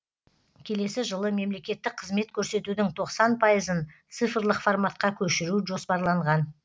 келесі жылы мемлекеттік қызмет көрсетудің тоқсан пайызын цифрлық форматқа көшіру жоспарланған